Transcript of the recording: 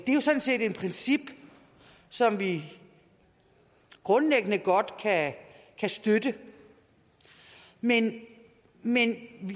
er sådan set et princip som vi grundlæggende godt kan støtte men men